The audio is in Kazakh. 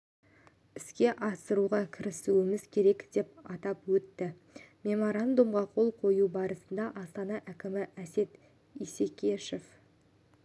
іске асыруға кірісуіміз керек деп атап өтті меморандумға қол қою барысында астана әкімі әсет исекешев